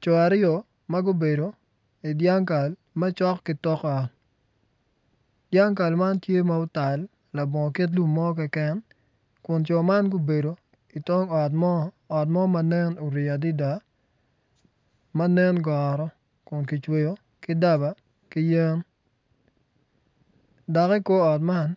Co ariyo ma gubedo idyangkal macok ki tok ot dyangkal man tye ma otal labongo kit lum mo keken kun co man gubedo i tong ot mo ot mo ma nenni orii adida ma nen goro kun ki cweyo ki daba ki yen dok i kor ot man